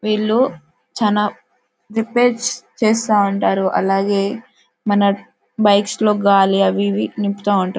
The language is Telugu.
వీళ్ళు చాలా రేపైర్స్ చేస్తావుంటారు అలాగే మన బైక్స్ లో గాలి అవీ ఇవీ నింపుతా వుంటారు.